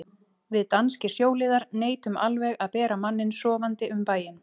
Við danskir sjóliðar neitum alveg að bera manninn sofandi um bæinn.